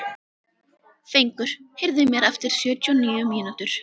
Fengur, heyrðu í mér eftir sjötíu og níu mínútur.